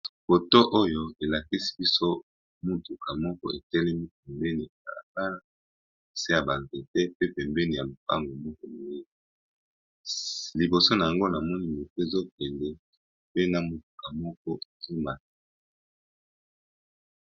Photo oyo elakisi mutuka moko etelemi pembeni ya balabala se ya ba nzete liboso na yango namoni moto eza KO kende pe na mutuka moko ezo kima.